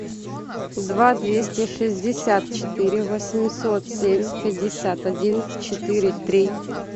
два двести шестьдесят четыре восемьсот семь пятьдесят один четыре три